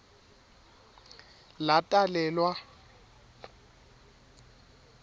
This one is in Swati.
latalelwa